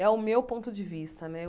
É o meu ponto de vista, né?